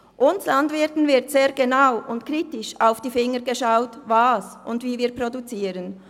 Uns Landwirten wird sehr genau und kritisch auf die Finger geschaut, was und wie wir produzieren.